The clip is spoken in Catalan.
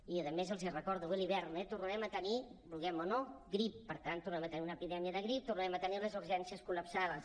i a més els ho recordo ve l’hivern eh tornarem a tenir vulguem o no grip per tant tornarem a tenir una epidèmia de grip tornarem a tenir les urgències col·lapsades